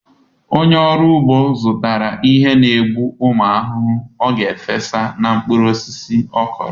Onye ọrụ ugbo zụtara ihe n'egbu ụmụ ahụhụ ọ ga-efesa na mkpụrụ osisi ọkụrụ.